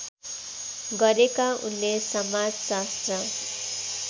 गरेका उनले समाजशास्त्र